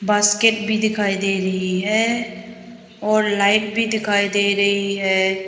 Basket भी दिखाई दे रही है और लाइट भी दिखाई दे रही है।